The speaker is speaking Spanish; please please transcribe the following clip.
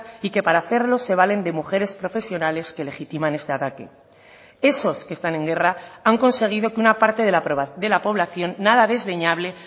y que para hacerlo se valen de mujeres profesionales que legitiman este ataque esos que están en guerra han conseguido que una parte de la población nada desdeñable